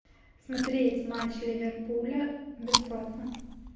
смотреть матч ливерпуля бесплатно